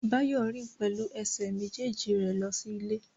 Báyọ̀ rìn pẹ̀lú ẹsẹ̀ méjèèjì rẹ̀ lọ sí ilé